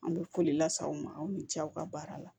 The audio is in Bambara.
An bɛ foli lase aw ma aw ni ce aw ka baara la